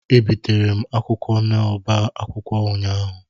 Ebitere m akwụkwọ n'oba akwụkwọ ụnyaahụ.